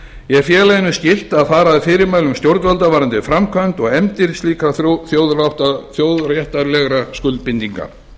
er félaginu skylt að fara að fyrirmælum stjórnvalda varðandi framkvæmd og efndir slíkra þjóðréttarlegra skuldbindinga